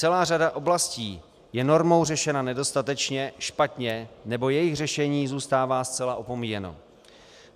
Celá řada oblastí je normou řešena nedostatečně, špatně, nebo jejich řešení zůstává zcela opomíjeno.